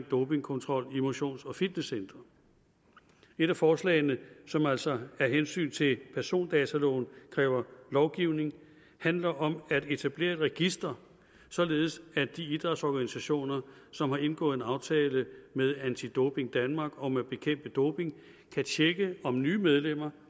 dopingkontrollen i motions og fitnesscentre et af forslagene som altså af hensyn til persondataloven kræver lovgivning handler om at etablere et register således at de idrætsorganisationer som har indgået en aftale med anti doping danmark om at bekæmpe doping kan tjekke om nye medlemmer